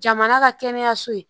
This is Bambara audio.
Jamana ka kɛnɛyaso ye